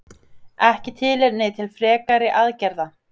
Ekki tilefni til frekari aðgerða